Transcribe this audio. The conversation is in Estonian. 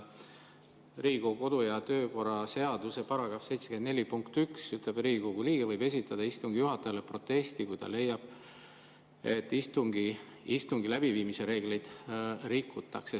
Riigikogu kodu- ja töökorra seaduse § 74 lõige 1 ütleb, et Riigikogu liige võib esitada istungi juhatajale protesti, kui ta leiab, et istungi läbiviimise reegleid rikutakse.